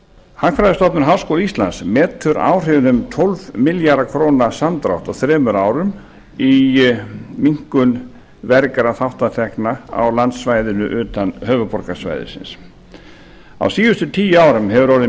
hagfræðistofnun háskóla íslands metur áhrifin um tólf milljarða króna samdrátt á þremur árum í minnkun vergra þátta tekna á landsvæðinu utan höfuðborgarsvæðisins á síðustu tíu árum hefur orðið